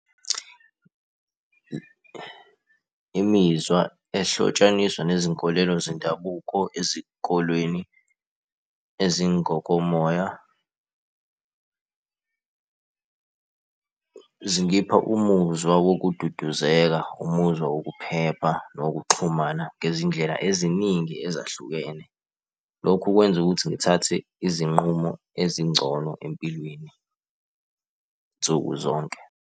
Imizwa ehlotshaniswa nezinkolelo zendabuko ezikolweni ezingokomoya zingipha umuzwa wakududuzeka, umuzwa wokuphepha nowokuxhumana ngezindlela eziningi ezahlukene. Lokhu kwenza ukuthi ngithathe izinqumo ezingcono empilweni nsukuzonke.